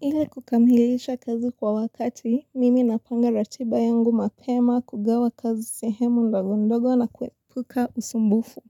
Ili kukamilisha kazi kwa wakati, mimi napanga ratiba yangu mapema kugawa kazi sehemu ndogo ndogo na kuepuka usumbufu.